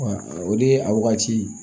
o de a wagati